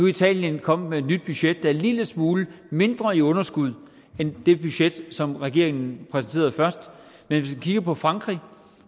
italien kommet med et nyt budget der er en lille smule mindre i underskud end det budget som regeringen præsenterede først men hvis vi kigger på frankrig